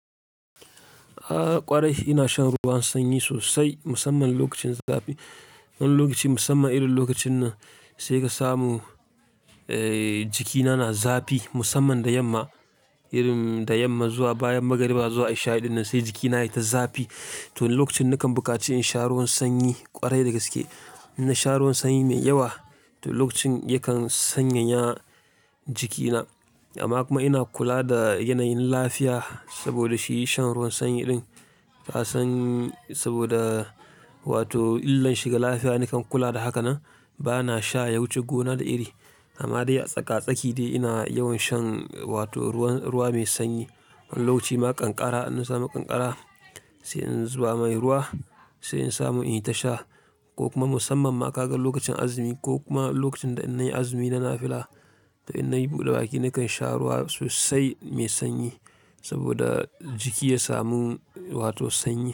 A ƙwarai ina shan ruwan sanyi sosai musamman lokacin zafi. Wani lokacin musamman irin lokacin nan sai ka samu, eh jikina na zafi musamman da yamma, irin da yamma zuwa bayan magariba zuwa isha ɗinnan sai jikina yayi ta zafi. To lokacin na kan bukaci in sha ruwan sanyi ƙwarai dagaske. Ina sha ruwan sanyi mai yawa to lokacin yakan sanyaya jikina. Amma kuma ina kula da yanayin lafiya saboda shi shan ruwan sanyi ɗin. Ka san saboda wato illan shi ga lafiya nakan kula da haka nan. Ba na sha ya wuce gona da iri. Amma dai a tsaka-tsaki dai ina yawan shan wato ruwan-- ruwa mai sanyi. Wani lokaci ma ƙanƙara in na samu ƙanƙara sai in zuba mai ruwa sai in samu in tasha ko kuma musamman ma ka ga lokacin azumi ko kuma lokacin da in nayi azumi na nafila to in nayi buɗe baki nakan sha ruwa sosai mai sanyi saboda jiki ya samu wato sanyi.